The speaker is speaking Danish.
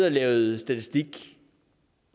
og lavet statistik